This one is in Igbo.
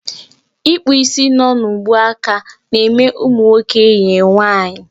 Ịkpụ isi nọ n'ubuaka na-eme nwoke e yie nwaanyị